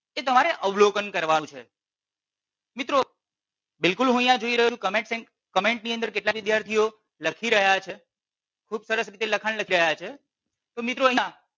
એ તમારે અવલોકન કરવાનુ છે. મિત્રો બિલકુલ હું અહિયાં જોઈ રહ્યો છુ કે કમેન્ટની કમેન્ટની કેટલાક વિદ્યાર્થીઓ લખી રહ્યા છે. ખુબ સરસ રીતે લખાણ લખી રહ્યા છે. તો મિત્રો અહિયાં